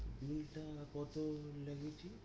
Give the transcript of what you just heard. VISA টা কত লেগেছে?